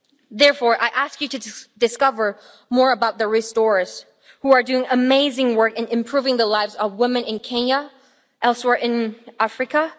Therefore, I ask you to discover more about The Restorers, who are doing amazing work in improving the lives of women in Kenya and elsewhere in Africa.